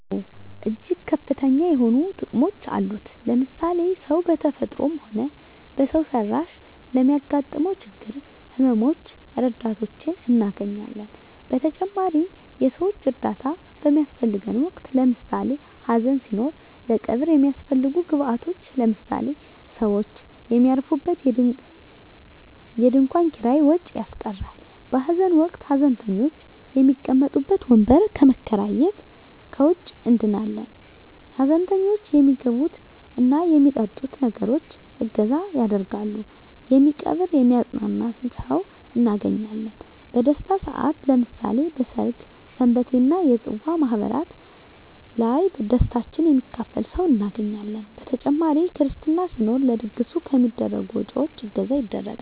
አወ እጅግ ከፍተኛ የሆኑ ጥቅሞች አሉት ለምሳሌ ሰው በተፈጥሮም ሆነ በሰው ሰራሽ ለሚያገጥመው ችግሮች ህመመ ሞች ረዳቶችን እናገኛለን በተጨማሪም የሰወች እርዳታ በሚያሰፈልገን ወቅት ለምሳሌ ሀዘን ሲኖር ለቀብር የሚያሰፈልጉ ግብአቶች ለምሳሌ ሰውች የሚያርፉበት የድንኮን ኪራይ ወጭ ያስቀራል በሀዘን ወቅት ሀዘንተኞች የሚቀመጡበት ወንበር ከመከራየት ከወጭ እንድናለን ሀዘንተኞች የሚመገብት እና የሚጠጡትን ነገሮች እገዛ ያደርጋሉ የሚቀብር የሚያጵናና ሰውን እናገኛለን በደስታም ሰአት ለምሳሌ በሰርግ ሰንበቴ እና የፅዋ ማህበራት ላይ ደስታችን የሚካፈል ሰው እናገኛለን በተጨማሪ ክርስትና ሲኖር ለድግሱ ከሚደረጉ ወጭወች እገዛ ይደረጋል።